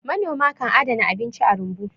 manoma kan adana abinci a rumbu